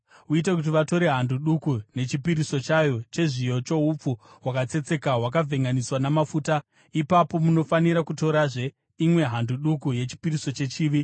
Uite kuti vatore hando duku nechipiriso chayo chezviyo choupfu hwakatsetseka hwakavhenganiswa namafuta, ipapo munofanira kutorazve imwe hando duku yechipiriso chechivi.